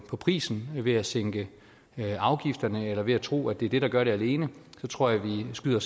på prisen ved at sænke afgifterne eller ved at tro at det er det der gør det alene så tror jeg at vi skyder